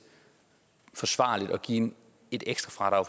forsvarligt at give et ekstra